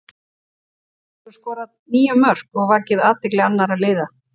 Hann hefur skorað níu mörk og vakið athygli annara liða.